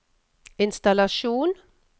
innstallasjon